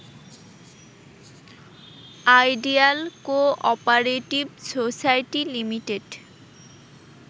ideal cooperative society limited